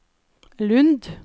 Lund